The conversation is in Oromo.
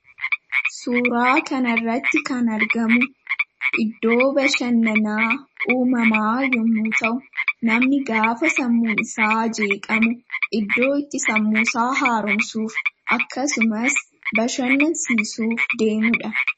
Suuraa kana irratti kan argamu iddoo bashannaana uumamaa yommuu ta'u, namni gaafa sammuun isaa jeeqamu iddoo itti sammuu isaa haaromsuuf, akkasumas bashannansiisuuf deemudha.